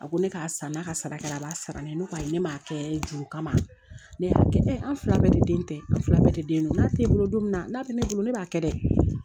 A ko ne k'a san n'a ka sara kɛra a b'a sara ne ye ne kɔni ne m'a kɛ juru kama ne y'a kɛ an fila bɛɛ de den tɛ an fila bɛɛ de den don n'a tɛ bolo don min na n'a bɛ ne bolo ne b'a kɛ dɛ